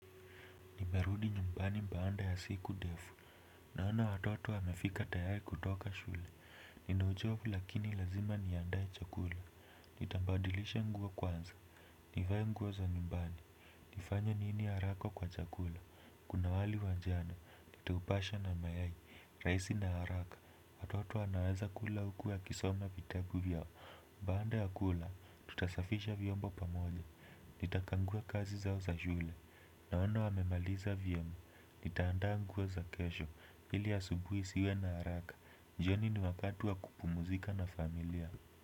Nimerudi nyumbani baanda ya siku defu. Naona watoto wamefika tayari kutoka shule. Nina uchovu lakini lazima niandae chakula. Nitambadilisha nguo kwanza. Nivaye nguo za nyumbani. Nifanye nini haraka kwa chakula. Kuna wali wa jana. Nitaupasha na mayai. Raisi na haraka. Watoto wanaweza kula huku wakisoma vitabu vyao. Mbaanda ya kula. Tutasafisha viombo pamoja. Nitakangua kazi zao za shule. Naona wamemaliza vyema. Nitaandaa nguo za kesho, hili ya subuhi isiwe na haraka jioni ni wakati wa kupumuzika na familia.